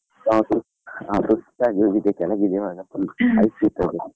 ನಾವು ಸು, ನಾವು ಸುಸ್ತಾಗಿ ಹೋಗಿದೆ ಕೆಳಗೆ ಇಳಿವಾಗ .